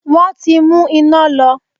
Wọn ti mú iná lọ.